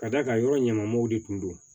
Ka d'a kan yɔrɔ ɲamanw de tun don